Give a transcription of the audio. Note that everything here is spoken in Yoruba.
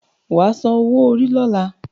Wà á san owó-orí lọ́la